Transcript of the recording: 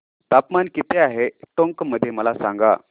तापमान किती आहे टोंक मध्ये मला सांगा